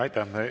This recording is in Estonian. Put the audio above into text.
Aitäh!